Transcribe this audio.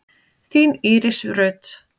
Þín Íris Rut.